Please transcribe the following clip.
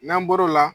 N'an bɔr'o la